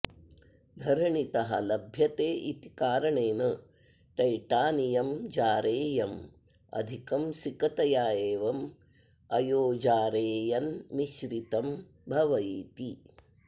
धरणीतः लभ्यते इति कारणेन टैटानियं जारेयम् अधिकं सिकतया एवम् अयोजारेयेन् मिश्रितं भविति